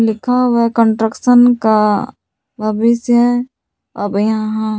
लिखा हुआ है कंस्ट्रक्शन का भविष्य अब यहां।